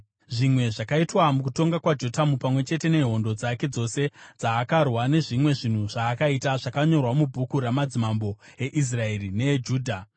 Zvimwe zvakaitwa mukutonga kwaJotamu pamwe chete nehondo dzake dzose dzaakarwa nezvimwe zvinhu zvaakaita, zvakanyorwa mubhuku ramadzimambo eIsraeri neeJudha.